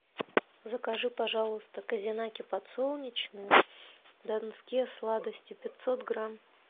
закажи пожалуйста козинаки подсолнечные донские сладости пятьсот грамм